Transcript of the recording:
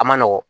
A ma nɔgɔn